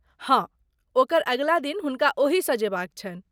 हँ, ओकर अगिला दिन हुनका ओहिसँ जेबाक छनि।